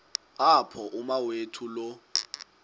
apho umawethu lo